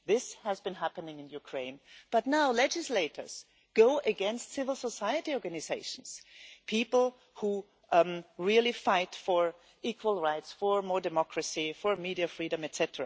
This has been happening in Ukraine, but now legislators are going against civil society organisations people who really fight for equal rights, more democracy, media freedom, etc.